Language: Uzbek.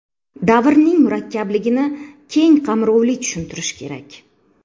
Davrning murakkabligini keng qamrovli tushuntirish kerak.